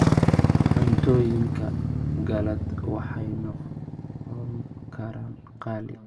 Cuntooyinka qalaad waxay noqon karaan qaali.